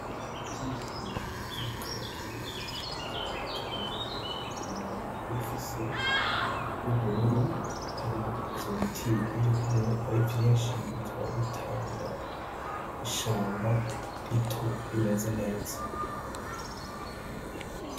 Ibiti bire bire vy' umakaratusi tubimenya kumababi iba ifise y'ubururu hama ivyo biti birikumwe ari vyinshi bikaba bitanga ishamba rito rimeze neza.